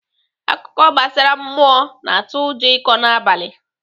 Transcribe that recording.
Akụkọ gbasara mmụọ na-atụ ụjọ ịkọ n'abalị.